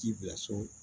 K'i bila so